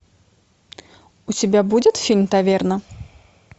у тебя будет фильм таверна